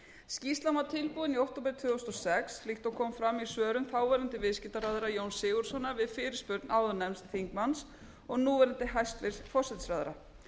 skýrslan var tilbúin í október tvö þúsund og sex líkt og kom fram í svörum þáverandi viðskiptaráðherra jóns sigurðssonar við fyrirspurn áðurnefnds þingmanns og núverandi hæstvirtan forsætisráðherra